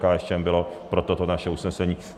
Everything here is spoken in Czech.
KSČM byla pro toto naše usnesení.